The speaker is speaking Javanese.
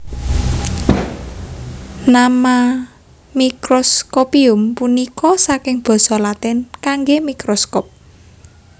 Nama Microscopium punika saking basa Latin kanggé microscope